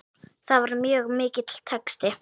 Það var mjög mikill texti.